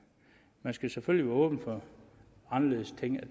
man skal selvfølgelig åben for anderledes